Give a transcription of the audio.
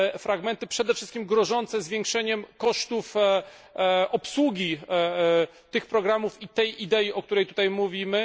fragmenty przede wszystkim grożące zwiększeniem kosztów obsługi tych programów i tej idei, o której tutaj mówimy.